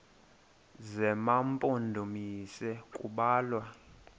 zema mpondomise kubalwa